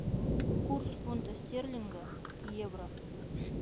курс фунта стерлинга к евро